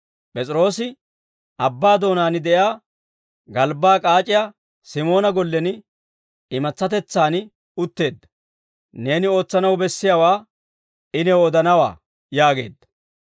P'es'iroosi abbaa doonaan de'iyaa galbbaa k'aac'iyaa Simoona gollen imatsatetsaan utteedda; neeni ootsanaw bessiyaawaa I new odanawaa» yaageedda.